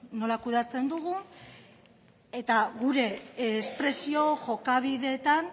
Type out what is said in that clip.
nola kudeatzen dugun eta gure espresio jokabideetan